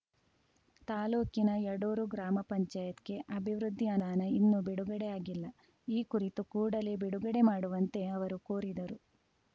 ತಾಲೂಕಿನ ಯಡೂರು ಗ್ರಾಮ ಪಂಚಾಯತ್ ಗೆ ಅಭಿವೃದ್ಧಿ ಅನುದಾನ ಇನ್ನೂ ಬಿಡುಗಡೆ ಆಗಿಲ್ಲ ಈ ಕುರಿತು ಕೂಡಲೇ ಬಿಡುಗಡೆ ಮಾಡುವಂತೆ ಅವರು ಕೋರಿದರು